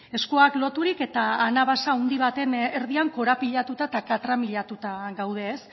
eskuak loturik eta anabasa handi baten erdian korapilatuta eta katramilatuta gaude